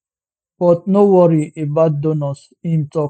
but no worry about donors im tok